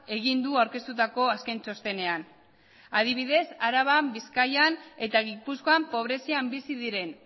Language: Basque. egin du aurkeztutako azken txostenean adibidez araban bizkaian eta gipuzkoan pobrezian bizi diren